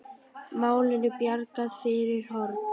Málinu bjargað fyrir horn.